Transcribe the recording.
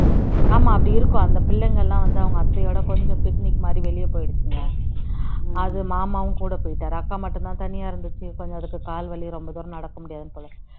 ஆமா அப்படி இருக்கும் அந்த பிள்ளைங்களாம் அவங்க அத்தையோட கொஞ்சம் picnic மாதிரி வெளிய போயிருக்குங்க அது மாமாவும் கூட போயிட்டாரு அக்கா மட்டும் தான் தனியா இருந்தது கொஞ்சம் அதுக்கு கால் வலி ரொம்ப தூரம் நடக்க முடியாது போல